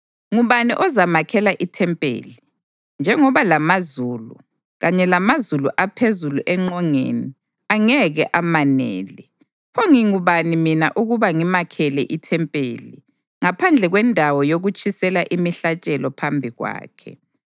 Ngubani ozamakhela ithempeli, njengoba lamazulu, kanye lamazulu aphezulu engqongeni, angeke amanele. Pho ngingubani mina ukuba ngimakhele ithempeli, ngaphandle kwendawo yokutshisela imihlatshelo phambi kwakhe?